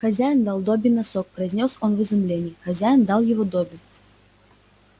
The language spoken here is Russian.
хозяин дал добби носок произнёс он в изумлении хозяин дал его добби